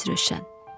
Ramiz Rövşən.